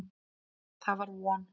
Það var von.